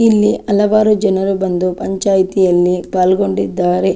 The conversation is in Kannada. ಇಲ್ಲಿ ಹಲವಾರು ಜನರು ಬಂದು ಪಂಚಾಯಿತಿಯಲ್ಲಿ ಪಾಲ್ಗೊಂಡಿದ್ದಾರೆ.